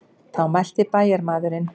Þá mælti bæjarmaðurinn.